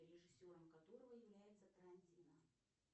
режиссером которого является тарантино